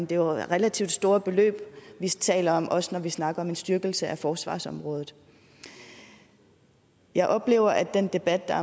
det er jo relativt store beløb vi taler om også når vi snakker om en styrkelse af forsvarsområdet jeg oplever at den debat der